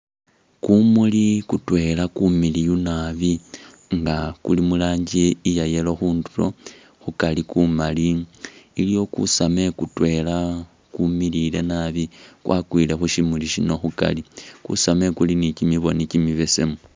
Kumuli kutwela kumiliyu naabi nga kuli muranji iya yellow khundulo, khukari kumali iliwo kusame kutwela kumilile naabi kwakwile khushimuli shino khukari, kusame kuli ni'kibiboni kimibesemu